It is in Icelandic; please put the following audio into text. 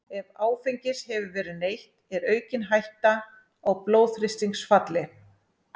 Ef áfengis hefur verið neytt er aukin hætta á blóðþrýstingsfalli.